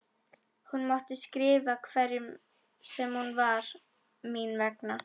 Hún mátti skrifa hverjum sem var mín vegna.